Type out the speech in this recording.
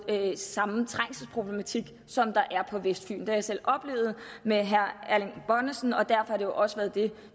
samme trængselsproblematik som der er på vestfyn det har jeg selv oplevet med herre erling bonnesen og derfor har det jo også været det